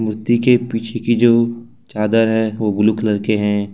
मूर्ति के पीछे के जो चादर है वो ब्लू कलर के हैं।